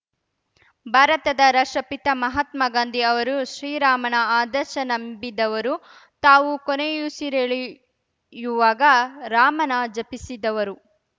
ಭಾರತದ ರಾಷ್ಟ್ರಪಿತ ಮಹಾತ್ಮಗಾಂಧಿ ಅವರು ಶ್ರೀರಾಮನ ಆದರ್ಶ ನಂಬಿದವರು ತಾವು ಕೊನೆಯುಸಿರೆಳೆಯುವಾಗ ರಾಮನ ಜಪಿಸಿದವರು